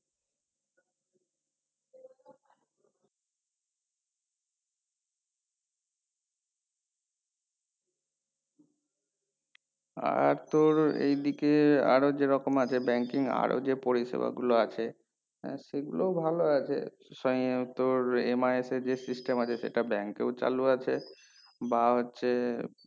আর তোর এই দিকে আরো যেরকম আছে banking আরো যেই পরিষেবা গুলো আছে হ্যাঁ সেই গুলোই ভালো আছে সঙ্গে তোর MIS এ যেই system আছে সেটা bank এও চালু আছে বা হচ্ছে